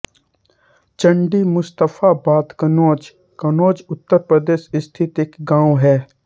चंडीमुस्तफाबाद कन्नौज कन्नौज उत्तर प्रदेश स्थित एक गाँव है